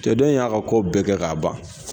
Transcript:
Cɛ dɔ in y'a ka ko bɛɛ kɛ k'a ban